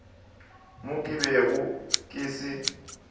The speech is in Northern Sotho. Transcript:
mo ke bego ke se